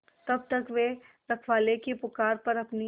तब तक वे रखवाले की पुकार पर अपनी